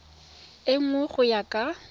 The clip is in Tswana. e nngwe go ya ka